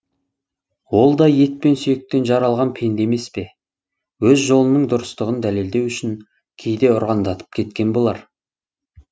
ол да ет пен сүйектен жаралған пенде емес пе өз жолының дұрыстығын дәлелдеу үшін кейде ұрандатып кеткен болар